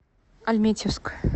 альметьевск